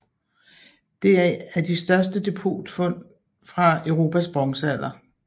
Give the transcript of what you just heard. Det er af de største depotfund fra Europas bronzealder